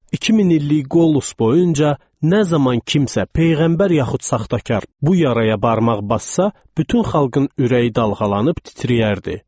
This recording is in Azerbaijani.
2000 illik Qolus boyunca nə zaman kimsə peyğəmbər yaxud saxtakar bu yaraya barmaq bassa, bütün xalqın ürəyi dalğalanıb titrəyərdi.